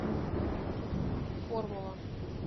формула